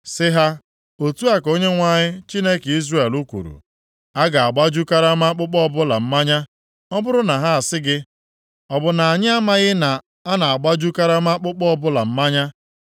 Sị ha, “Otu a ka Onyenwe anyị, Chineke Izrel kwuru: A ga-agbaju karama akpụkpọ ọbụla mmanya. Ọ bụrụ na ha sị gị, ‘Ọ bụ na anyị amaghị na a na-agbaju karama akpụkpọ ọbụla mmanya?’